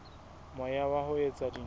moya wa ho etsa dintho